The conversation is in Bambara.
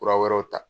Kura wɛrɛw ta